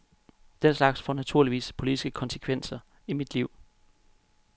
Den slags får naturligvis politiske konsekvenser i mit liv.